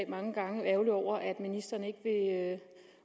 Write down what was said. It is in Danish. mange gange ærgerlige over at ministeren